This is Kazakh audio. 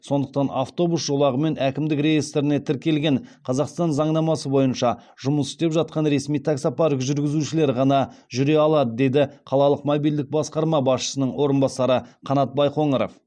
сондықтан автобус жолағымен әкімдік реестріне тіркелген қазақстан заңнамасы бойынша жұмыс істеп жатқан ресми таксопарк жүргізушілері ғана жүре алады деді қалалық мобильдік басқармасы басшысының орынбасары қанат байқоңыров